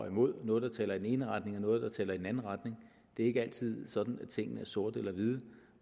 imod noget der taler i den ene retning og noget der taler i den anden retning det er ikke altid sådan at tingene er sorte eller hvide